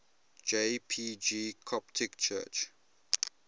jpg coptic church